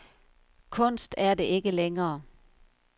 Kunst er det ikke længere.